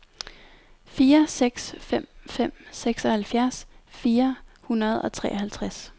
fire seks fem fem seksoghalvfjerds fire hundrede og treoghalvtreds